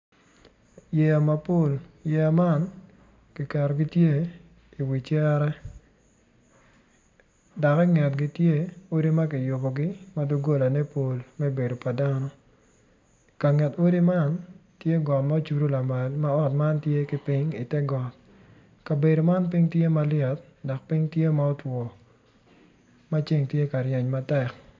Yeya mapol yeya man kiketogi tye iwi cere dok ingetgi tye odi ma kiyubogi ma dogolane pol me bedo pa dano i kanget odi man tye got ma ocudo lamal ma ot man tye ki piny ite got kabedo man piny tye malyet dok piny tye ma otwo ma ceng tye ka ryeny matek.